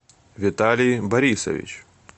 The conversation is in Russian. виталий борисович